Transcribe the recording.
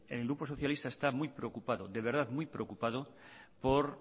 el grupo socialista está muy preocupado de verdad muy preocupado por